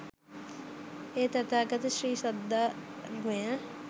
ඒ තථාගත ශ්‍රී සද්ධර්මය